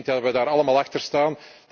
zaak. Ik denk dat we daar allemaal achter